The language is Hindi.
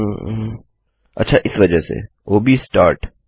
यूएम अच्छा इस वजह से ओ ब स्टार्ट